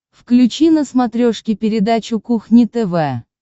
включи на смотрешке передачу кухня тв